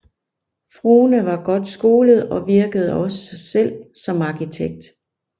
Frohne var godt skolet og virkede også selv som arkitekt